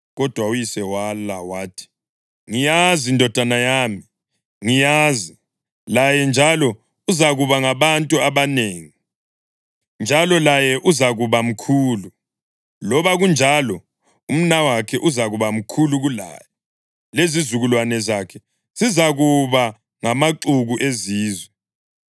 Kodwa uyise wala, wathi, “Ngiyazi, ndodana yami, ngiyazi. Laye njalo uzakuba ngabantu abanengi, njalo laye uzakuba mkhulu. Loba kunjalo, umnawakhe uzakuba mkhulu kulaye lezizukulwane zakhe zizakuba ngamaxuku ezizwe.”